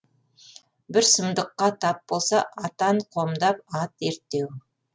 бір сұмдыққа тап болса атан қомдап ат ерттеу